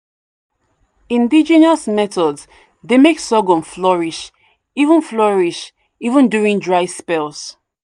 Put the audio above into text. indigenous methods dey make sorghum flourish even flourish even during dry spells."